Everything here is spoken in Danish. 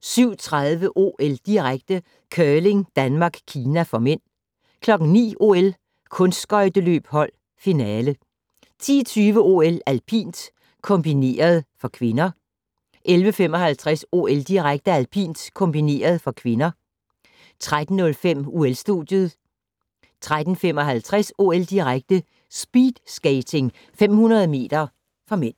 07:30: OL-direkte: Curling - Danmark-Kina (m) 09:00: OL: Kunstskøjteløb hold - finale 10:20: OL: Alpint - kombineret (k) 11:55: OL-direkte: Alpint -kombineret (k) 13:05: OL-studiet 13:55: OL-direkte: Speedskating 500 m (m)